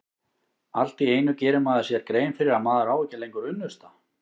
Allt í einu gerir maður sér grein fyrir að maður á ekki lengur unnusta.